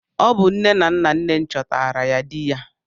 Ọ bụ nne na nna nne m chọtara ya di ya.